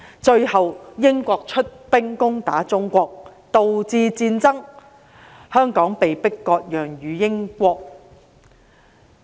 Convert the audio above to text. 最後英國出兵攻打中國，導致戰爭，香港被迫割讓予英國。